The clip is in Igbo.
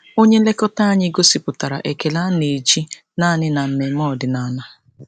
Onye nlekọta anyị gosipụtara ekele a na-eji naanị na mmemme ọdịnala.